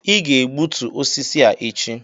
ị ga-egbutu osisi a echi!